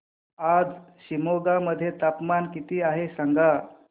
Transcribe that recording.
आज शिमोगा मध्ये तापमान किती आहे सांगा